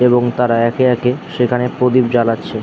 এবং তারা একে একে সেখানে প্রদীপ জ্বালাচ্ছে।